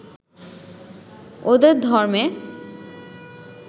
ওদের ধর্মে